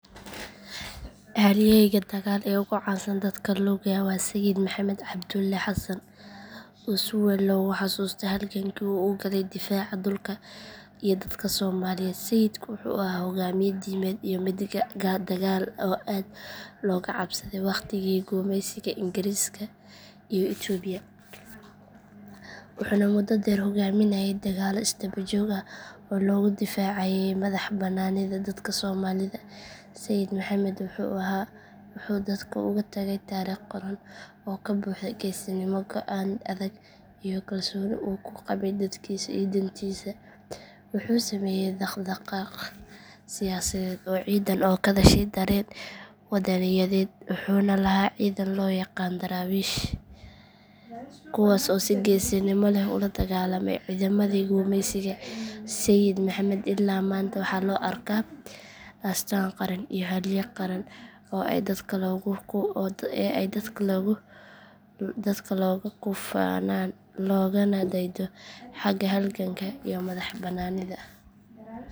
Halyeyga dagaal ee ugu caansanaa dadka looga waa Sayid Maxamed Cabdulle Xasan oo si weyn loogu xasuusto halgankii uu u galay difaaca dhulka iyo dadka Soomaaliyeed Sayidku wuxuu ahaa hoggaamiye diimeed iyo mid dagaal oo aad looga cabsaday waqtigii gumaysiga Ingiriiska iyo Itoobiya wuxuuna muddo dheer hogaaminayey dagaallo isdaba joog ah oo lagu difaacayo madaxbannaanida dadka Soomaalida Sayid Maxamed wuxuu dadka uga tagay taariikh qoran oo ka buuxda geesinimo go'aan adag iyo kalsooni uu ku qabay dadkiisa iyo diintiisa wuxuu sameeyay dhaqdhaqaaq siyaasadeed iyo ciidan oo ka dhashay dareen wadaniyadeed wuxuuna lahaa ciidan loo yaqaan daraawiish kuwaas oo si geesinimo leh ula dagaalamay ciidamadii gumeysiga Sayid Maxamed ilaa maanta waxaa loo arkaa astaan qaran iyo halyay qaran oo ay dadka looga ku faanaan loogana daydo xagga halganka iyo madax bannaanida.